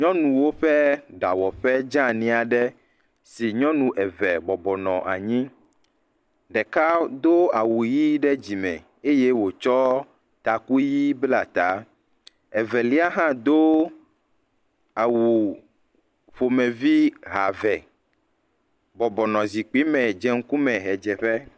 Nyɔnuwo ƒe ɖawɔƒe dzeani aɖe si nyɔnu eve bɔbɔnɔ anyi. Ɖeka do awu ʋi ɖe dzime eye wotsɔ taku ʋi bla ta. Evelia hã do awu ƒomevi ha eve bɔbɔnɔ zikpui me dze ŋkume ʋedzeƒe.